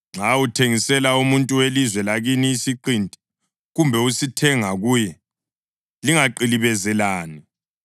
Nxa uthengisela umuntu welizwe lakini isiqinti, kumbe usithenga kuye, lingaqilibezelani.